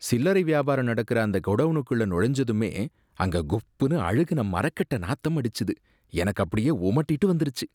சில்லறை வியாபாரம் நடக்குற அந்த கொடவுனுக்குள்ள நுழைஞ்சதுமே அங்க குப்புனு அழுகுன மரக்கட்ட நாத்தம் அடிச்சது, எனக்கு அப்படியே ஒமட்டிட்டு வந்துருச்சு.